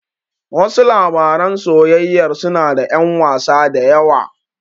Wasu labaran soyayyar suna da ƴan wasa da yawa.